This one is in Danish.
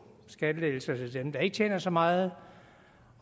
skattelettelser til dem der ikke tjener så meget